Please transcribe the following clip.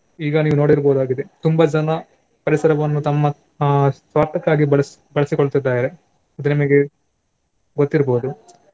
ಈಗ ನೀವು ನೋಡಿರ್ಬಹುದಾಗಿದೆ ತುಂಬಾ ಜನ ಪರಿಸರವನ್ನು ತಮ್ಮ ಆ ಸ್ವಾರ್ಥಕ್ಕಾಗಿ ಬಳಸಿ~ ಬಳಸಿಕೊಳ್ಳುತ್ತಿದ್ದಾರೆ ಅದು ನಿಮಗೆ ಗೊತ್ತಿರ್ಬೋದು.